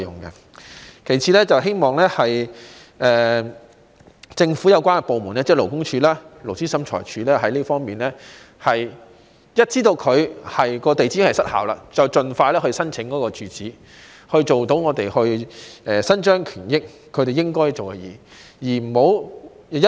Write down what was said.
其次，希望政府有關部門，即勞工處及勞資審裁處，一旦知道登記地址已失效，便應盡快因應申請准許披露董事住址，讓我們能夠伸張正義，令公司做應該做的事情。